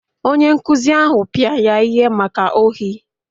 Onye nkụzi ahụ pịa ya ihe maka ohi